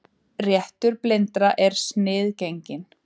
Réttur blindra sniðgenginn